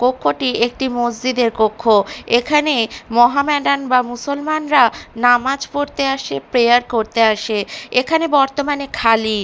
কক্ষটি একটি মসজিদের কক্ষ এখানে মহাম্যাডান বা মুসলমানরা নামাজ পড়তে আসে প্রেয়ার করতে আসে এখানে বর্তমানে খালি।